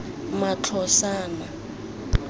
matlosana